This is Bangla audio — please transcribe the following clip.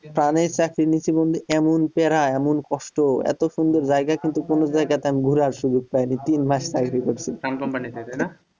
প্রাণের চাকরি নিয়েছি বন্ধু এমন প্যারা এমন কষ্ট এত সুন্দর জায়গা কিন্তু কোন জায়গায় ঘুরে আসিনি তিন মাস চাকরি করিছি।